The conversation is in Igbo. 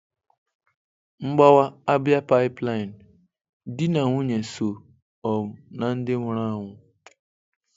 Mgbawa Abia Pipeline: Di na nwunye so um na ndị nwụrụ anwụ.